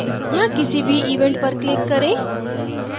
यहाँ किसी भी event पर click करें